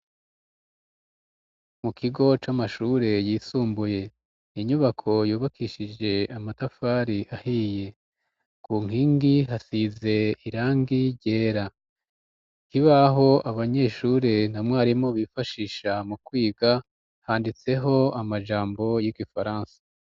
Mu kigo c'amashure yisumbuye inyubako yubakishije amatafari ahiye ku nkingi hasize irangi ryera kibaho abanyeshuri na mwarimu bifashisha mu kwiga handitseho amajambo y'igifaransa.